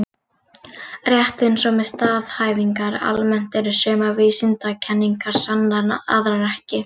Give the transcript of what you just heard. Rétt eins og með staðhæfingar almennt eru sumar vísindakenningar sannar en aðrar ekki.